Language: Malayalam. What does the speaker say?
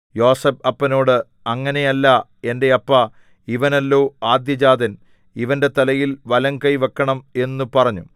യോസേഫ് അപ്പനോട് അങ്ങനെയല്ല എന്റെ അപ്പാ ഇവനല്ലോ ആദ്യജാതൻ ഇവന്റെ തലയിൽ വലംകൈ വെക്കണം എന്നു പറഞ്ഞു